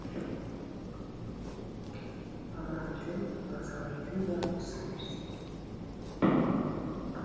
мамамды мазалайтыны да осы нәрсе